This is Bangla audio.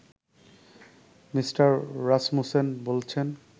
মি. রাসমুসেন বলছেন